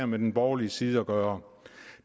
med den borgerlige side at gøre